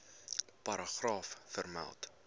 paragraaf vermeld